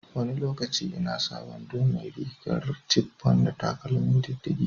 Wani lokaci ina sa wando mai rigar chiffon da takalmi diddige.